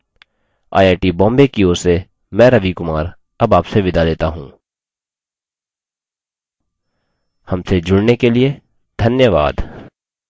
I I T Bombay की ओर से मैं रवि कुमार अब आपसे विदा लेता हूँ हमसे जुड़ने के लिए धन्यवाद